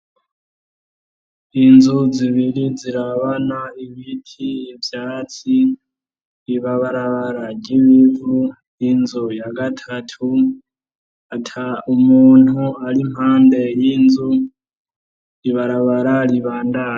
Inzu zibiri zirabana, ibiti, ivyatsi, ibarabara ry'ivu inzu ya gatatu ata muntu ari impande y'inzu ibarabara ribandanya.